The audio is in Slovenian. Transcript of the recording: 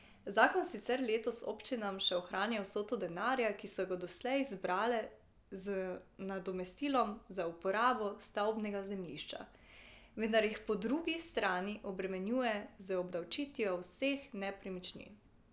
Zakon sicer letos občinam še ohranja vsoto denarja, ki so ga doslej zbrale z nadomestilom za uporabo stavbnega zemljišča, vendar jih po drugi strani obremenjuje z obdavčitvijo vseh nepremičnin.